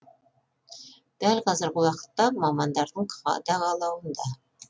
дәл қазіргі уақытта мамандардың қадағалауында